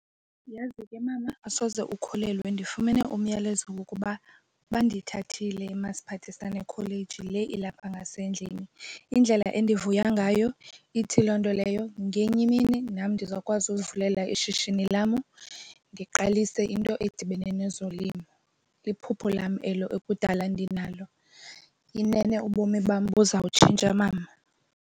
Uyazi ke, mama, asoze ukholelwe ndifumene umyalezo wokuba bandithathile eMasiphathisane kholeji le ilapha ngasendlini. Indlela endivuya ngayo, ithi loo nto leyo ngenye imini nam ndizawukwazi ukuzivulela ishishini lam ndiqalise into edibene nezolimo. Liphupha lam elo ekudala ndinalo. Inene ubomi bam buza kutshintsha, mama.